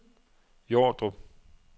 Jordrup